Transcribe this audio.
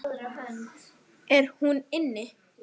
Er hún inni?